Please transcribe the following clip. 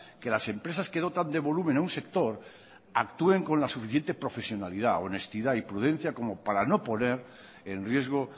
que las empresas que dotan de volumen a un sector actúen con la suficiente profesionalidad honestidad y prudencia como para no poner en riesgo